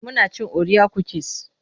muna cin orea kukis